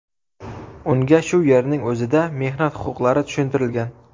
Unga shu yerning o‘zida mehnat huquqlari tushuntirilgan.